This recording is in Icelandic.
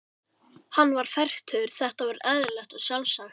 Hann var fertugur, þetta var eðlilegt og sjálfsagt.